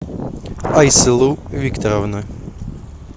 айсылу викторовна